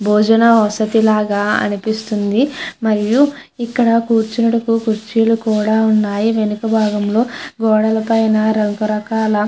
భోజనం వసతి లాగా అనిపిస్తుంది. కూర్చోడానికి కుర్చీలు కూడా వేసి ఉన్నాయ్. వెనుకల బాగం లో గోడ పైన రక రకాల --